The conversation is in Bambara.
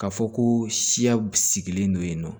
Ka fɔ ko siya sigilen don yen nɔ